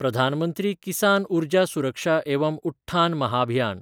प्रधान मंत्री किसान उर्जा सुरक्षा एवं उठ्ठान महाभियान